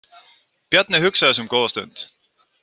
Bjarni hugsaði sig um góða stund.